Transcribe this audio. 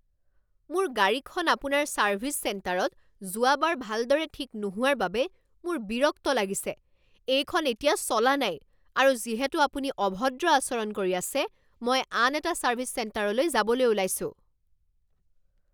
মোৰ গাড়ীখন আপোনাৰ ছাৰ্ভিছ চেণ্টাৰত যোৱাবাৰ ভালদৰে ঠিক নোহোৱাৰ বাবে মোৰ বিৰক্ত লাগিছে। এইখন এতিয়া চলা নাই আৰু যিহেতু আপুনি অভদ্ৰ আচৰণ কৰি আছে মই আন এটা ছাৰ্ভিছ চেণ্টাৰলৈ যাবলৈ ওলাইছোঁ।